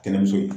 Kɛnɛmuso ye